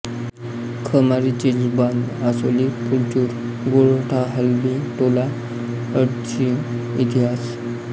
Khamari Chirchalbandh Asoli Phulchur Gortha Halbi Tola अडसीइतिहास